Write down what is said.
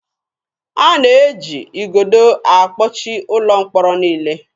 A na-eji igodo akpọchi ụlọ mkpọrọ niile.